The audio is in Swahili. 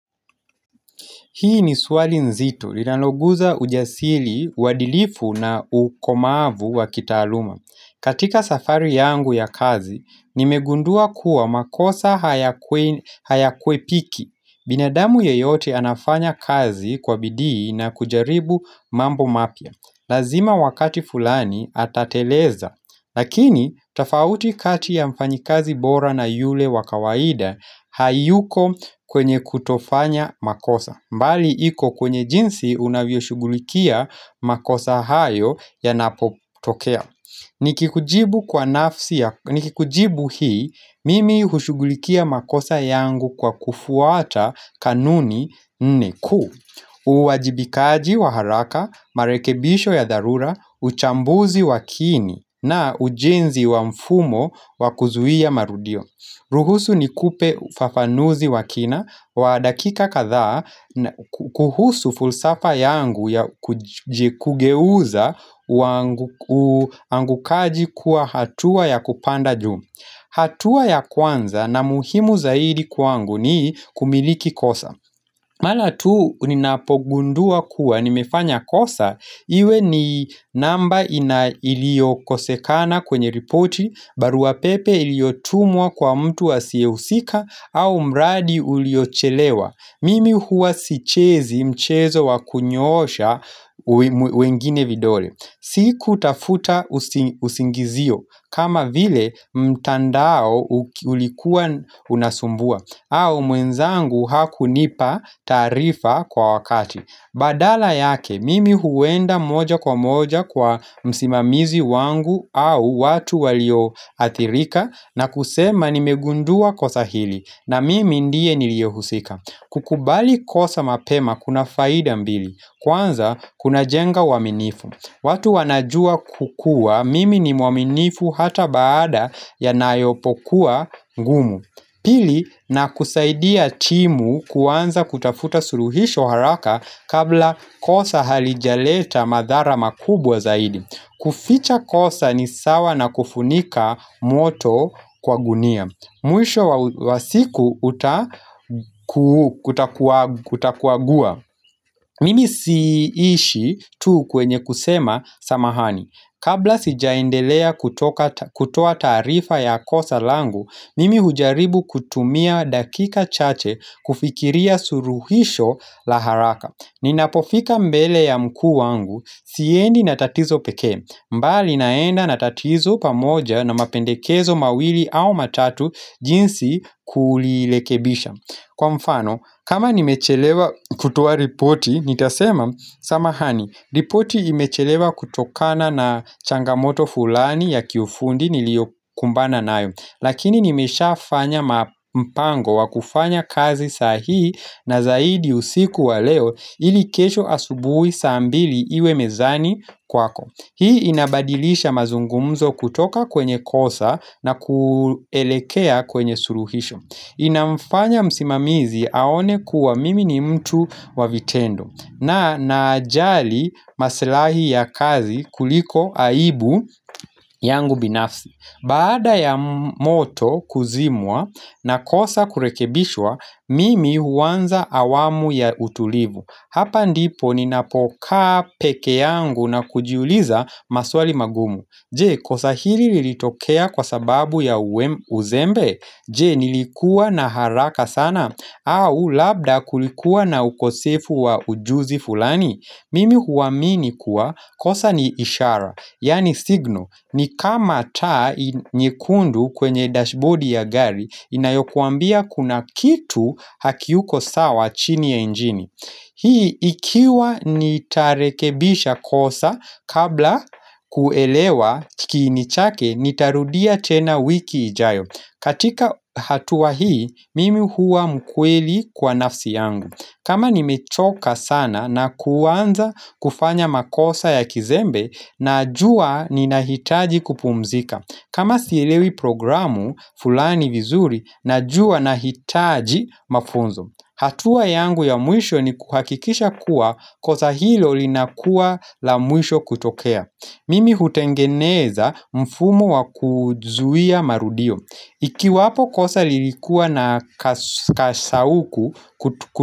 Hii ni swali nzito, linaloguza ujasiri, uadilifu na ukomavu wa kitaaluma. Katika safari yangu ya kazi, nimegundua kuwa makosa hayakwepiki. Binadamu yeyote anafanya kazi kwa bidii na kujaribu mambo mapya. Lazima wakati fulani atateleza, lakini tofauti kati ya mfanyikazi bora na yule wa kawaida hayuko kwenye kutofanya makosa. Mbali iko kwenye jinsi unavyoshugulikia makosa hayo yanapotokea Nikikujibu hii mimi hushugulikia makosa yangu kwa kufuata kanuni nne kuu uwajibikaji wa haraka, marekebisho ya dharura, uchambuzi wa kiini na ujenzi wa mfumo wakuzuhia marudio ruhusu nikupe ufafanuzi wa kina wa dakika kadhaa kuhusu fulsafa yangu ya kugeuza uangukaji kuwa hatua ya kupanda juu hatua ya kwanza na muhimu zaidi kwangu ni kumiliki kosa Mara tu ninapogundua kuwa, nimefanya kosa, iwe ni namba iliyokosekana kwenye ripoti, baruapepe iliyotumwa kwa mtu asiyehusika au mradi uliochelewa. Mimi huwa sichezi mchezo wa kunyoosha wengine vidole. Sikutafuta usingizio kama vile mtandao ulikuwa unasumbua au mwenzangu hakunipa taarifa kwa wakati Badala yake, mimi huenda moja kwa moja kwa msimamizi wangu au watu walio athirika na kusema nimegundua kosa hili na mimi ndiye niliyehusika kukubali kosa mapema kuna faida mbili Kwanza kunajenga uaminifu watu wanajua kukua mimi ni mwaminifu hata baada yanayopokuwa ngumu Pili na kusaidia timu kuanza kutafuta suluhisho haraka kabla kosa halijaleta madhara makubwa zaidi kuficha kosa ni sawa na kufunika moto kwa gunia Mwisho wa siku utakuagua Mimi siishi tu kwenye kusema samahani. Kabla sijaendelea kutoa taarifa ya kosa langu, nimi hujaribu kutumia dakika chache kufikiria suluhisho la haraka. Ninapofika mbele ya mkuu wangu, siendi na tatizo peke. Bali naenda na tatizo pamoja na mapendekezo mawili au matatu jinsi kulirekebisha. Kwa mfano, kama nimechelewa kutoa ripoti, nitasema, samahani, ripoti imechelewa kutokana na changamoto fulani ya kiufundi niliokumbana nayo, lakini nimeshafanya mpango wa kufanya kazi sahii na zaidi usiku wa leo ili kesho asubuhi saa mbili iwe mezani kwako. Hii inabadilisha mazungumzo kutoka kwenye kosa na kuelekea kwenye suluhisho Inamfanya msimamizi aone kuwa mimi ni mtu wa vitendo na najali masilahi ya kazi kuliko aibu yangu binafsi Baada ya moto kuzimwa na kosa kurekebishwa mimi huanza awamu ya utulivu Hapa ndipo ninapokaa peke yangu na kujiuliza maswali magumu Je kosa hili lilitokea kwa sababu ya uzembe Je nilikua na haraka sana au labda kulikuwa na ukosefu wa ujuzi fulani Mimi huamini kuwa kosa ni ishara Yaani signal ni kama taa nyekundu kwenye dashboard ya gari Inayokuambia kuna kitu hakiuko sawa chini ya injini Hii ikiwa nitarekebisha kosa kabla kuelewa kiini chake, nitarudia tena wiki ijayo. Katika hatua hii, mimi huwa mkweli kwa nafsi yangu. Kama nimechoka sana na kuanza kufanya makosa ya kizembe, najua ninahitaji kupumzika. Kama sielewi programu, fulani vizuri, najua nahitaji mafunzo. Hatua yangu ya mwisho ni kuhakikisha kuwa kosa hilo linakuwa la mwisho kutokea. Mimi hutengeneza mfumo wa kuzuia marudio. Ikiwapo kosa lilikuwa na kashauku kutukuliwa.